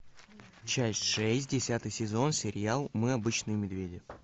часть шесть десятый сезон сериал мы обычные медведи